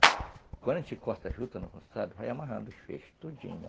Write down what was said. Quando a gente corta a juta no roçado, vai amarrando os feixes todinho.